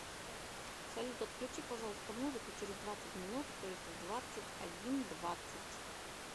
салют отключи пожалуйста музыку через двадцать минут то есть в двадцать один двадцать